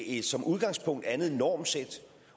et som udgangspunkt andet normsæt